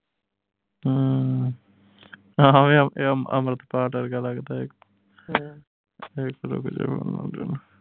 ਹਮ ਆਹ ਵੇਖ ਇਹ ਇਹ ਅਮ੍ਰਿਤਪਾਲ ਵਰਗਾ ਲਗਦਾ ਇਕ ਵਾਰ ਰੁਕ